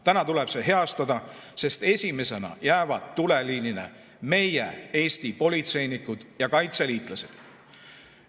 Täna tuleb see heastada, sest esimesena jäävad tuleliinile meie Eesti politseinikud ja kaitseliitlased.